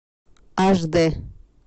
аш дэ